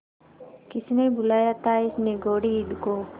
किसने बुलाया था इस निगौड़ी ईद को